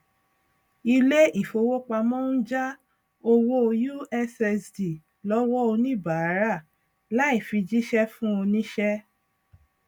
ilé ìfowópamọ ń já owó ussd lọwọ oníbàárà láì fi jíṣẹ fún oníṣẹ